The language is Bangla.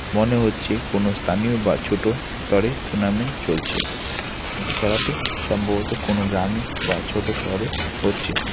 মনে হচ্ছে কোনও স্থানীয় বা ছোট স্তরে টুর্নামেন্ট চলছে যে খেলাটি সম্ভবত কোনও গ্রামে বা ছোট শহরে হচ্ছে।